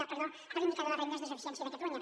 perdó de l’indicador de rendes de sufi·ciència de catalunya